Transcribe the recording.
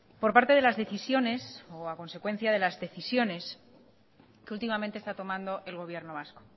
por parte de las decisiones o a consecuencia de las decisiones que últimamente está tomando el gobierno vasco